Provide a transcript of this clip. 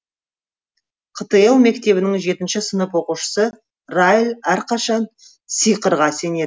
қтл мектебінің жетінші сынып оқушысы райл әрқашан сиқырға сенеді